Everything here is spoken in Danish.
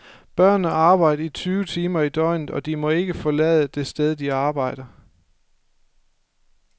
Børnene arbejder tyve timer i døgnet, og de må ikke forlade det sted, de arbejder.